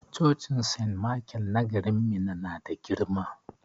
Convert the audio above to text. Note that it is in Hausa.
Cocin sent maikel na garin Minna na da girma.